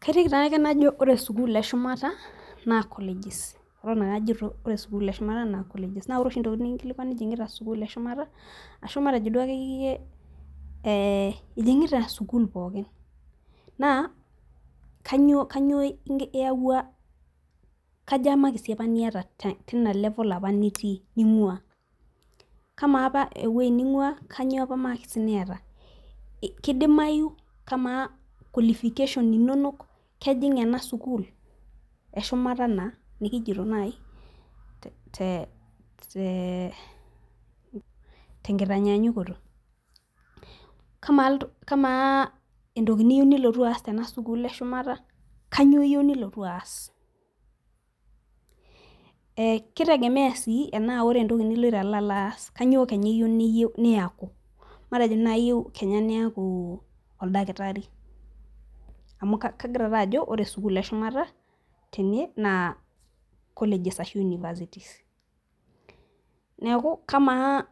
Kaiteki taa ake najo ore sukuul eshumata naa colleges Eton ake aiteki ajo ore sukuul eshumata naa colleges. naa ore oshi ntokitin nikinkilikuani ijing'ita sukuul eshumata .ashu matejo duo akeyiyie ijing'ita sukuul pookin naa kainyioo iyawua kaja imakisi apa niata teina level apa nitii ning'uaa .kamaa apa ewueji ning'uaa kainyioo apa imakisi niata, kidimayu, kamaa qualification inonok kejing' ena sukuul eshumata naa nikijoto naaji.te nkitanyaanyukoto. kamaa entoki niyieu nilotu aas te a sukuul eshumata kainyioo iyieu nilotu aas,e kitegemea sii tenaa ore entoki niloito alo alo. aas kainyioo Kenya eyieu niyaku. matejo naaji iyieu Kenya niyaku oldakitari, amu kegira taa ajo ore sukuul eshumata tene naa colleges ashu universities. neeku kamaa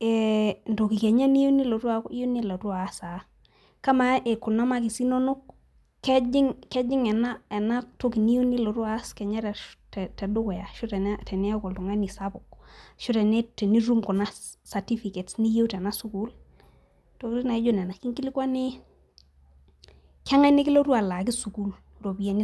entoki Kenya niyieu nilotu aaku, iyieu nilotu aas aa .kamaa Kuna makisi inonok, kejing'. Ena toki niyieu nilotu aas Kenya te dukuya ashu teniaku oltungani sapuk. ashu tenitum kuna certificates niyieu tena sukuul. intokitin naijo Nena. ekinkilikua I keng'as nikilotu alaaki sukuul iropiyiani e sukuul.